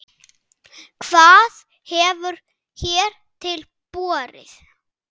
Hvað hefur hér til borið?